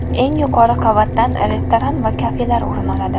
Eng yuqori qavatdan restoran va kafelar o‘rin oladi.